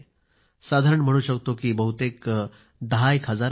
साधारण म्हणू शकतो की बहुतेक दहा हजार असेल